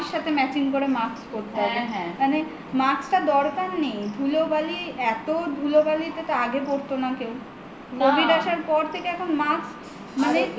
সাথে matching করে mask পড়তে হবে মানে mask টা দরকার নেই ধুলোবালি এত ধুলোবালি তো আগে পরত না কেউ covid আসার পর থেকে এখন mask মানে